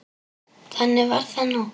Þannig var það nú.